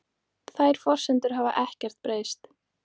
Þær forsendur hafi ekkert breyst